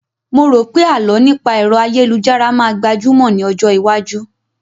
Mo rò pé àlọ́ nípa ẹ̀ro ayélujára máa gbajúmọ̀ ní ọjọ́ iwájú